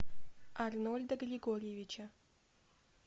арнольда григорьевича